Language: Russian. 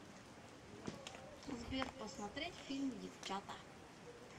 сбер посмотреть фильм девчата